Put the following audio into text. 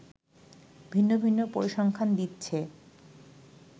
ভিন্ন ভিন্ন পরিসংখ্যান দিচ্ছে